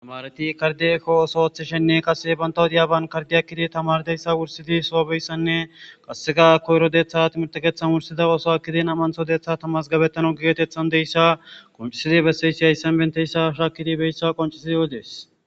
Tamareti kardey eko oothishene kase banta wodiyan kardey ekkidi tamariyaysane qaseka koyro detha wursidi nam'antho detha mazgabetanas qoncisidi betizaysi haysan dizaysa shakidi odes